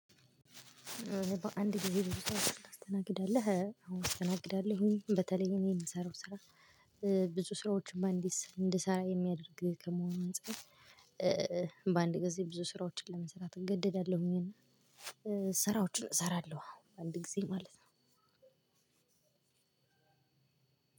እኔ በአንድ ጊዜ ብዙ ስራ ታስተናግዳለህ? አዎ አስተናግዳለሁኝ በተለይ እኔ የምሰራው ስራ። ስራዎችን በአንድ እንድሰራ የሚያደርግ ከመሆኑ አንፃር። በአንድ ጊዜ ብዙ ስራዎችን ለመስራት እገደዳለሁኝ እና ስራዎችን እሰራለሁ። አንድ ጊዜ ማለት ነው።